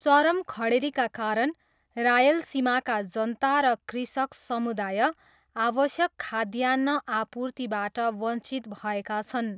चरम खडेरीका कारण रायलसीमाका जनता र कृषक समुदाय आवश्यक खाद्यान्न आपूर्तिबाट वञ्चित भएका छन्।